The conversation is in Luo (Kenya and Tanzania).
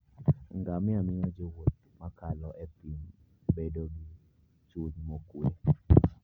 Ngamia miyo jowuoth ma kalo e thim bedo gi chuny mokuwe.